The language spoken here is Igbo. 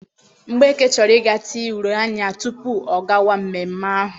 Mgbeke chọrọ ịga tee uri anya tupu ọ gawa mmemme ahụ.